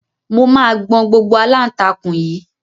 Mo máa gbọn gbogbo aláǹtakùn yìí